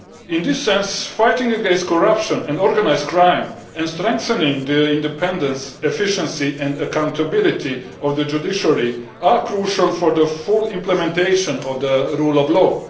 In this sense, fighting against corruption and organised crime and strengthening the independence, efficiency and accountability of the judiciary are crucial for the full implementation of the rule of law.